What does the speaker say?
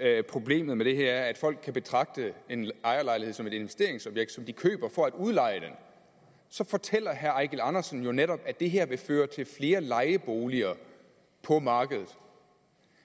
at problemet med det her er at folk kan betragte en ejerlejlighed som et investeringsobjekt som de køber for at udleje så fortæller herre eigil andersen jo netop at det her vil føre til flere lejeboliger på markedet